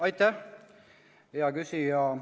Aitäh, hea küsija!